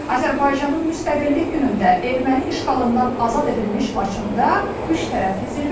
Azərbaycanın Müstəqillik günündə erməni işğalından azad edilmiş Laçında üç tərəfli zirvə.